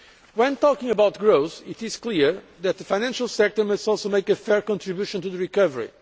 When talking about growth, it is clear that the financial sector must also make a fair contribution to recovery.